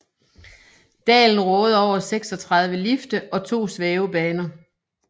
Dalen råder over 36 lifte og 2 svævebaner